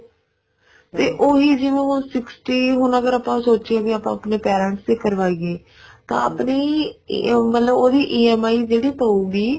ਤੇ ਉਹੀ ਹੁਣ ਜਿਵੇਂ ਉਹ sixty ਹੁਣ ਅਗਰ ਆਪਾਂ ਸੋਚਿਏ ਵੀ ਆਪਾਂ ਆਪਣੀ parents ਨੂੰ ਕਰਾਈਏ ਤੇ ਆਪਣੀ ਮਤਲਬ ਉਹਦੀ EMI ਜਿਹੜੀ ਪਉਗੀ